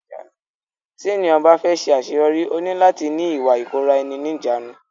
Tí ènìyàn bá fẹ́ ṣe àṣeyọrí ó ní láti ní Ìwà ìkóra ẹni níjàánu.